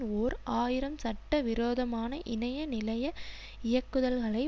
ஓர் ஆயிரம் சட்ட விரோதமான இணைய நிலைய இயக்குதல்களை